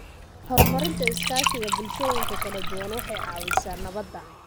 Horumarinta iskaashiga bulshooyinka kala duwan waxay caawisaa nabadda.